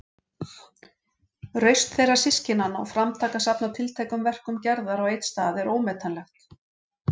Rausn þeirra systkinanna og framtak að safna tiltækum verkum Gerðar á einn stað er ómetanlegt.